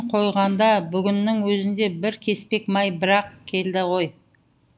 қойғанда бүгіннің өзінде бір кеспек май бір ақ келді ғой